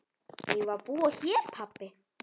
Eigum við að búa hér pabbi?